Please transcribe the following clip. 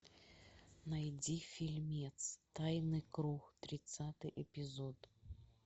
найди фильмец тайный круг тридцатый эпизод